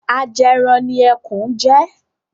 Ajẹran ni Ẹkùn jẹ́.